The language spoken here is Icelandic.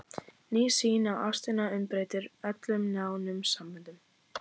Ný sýn á ástina umbreytir öllum nánum samböndum.